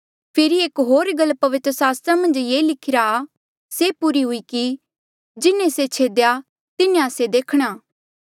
फेरी एक होर गल पवित्र सास्त्रा मन्झ ये लिखिरा आ से पूरी हुई कि जिन्हें से छेदेया तिन्हा से देखणा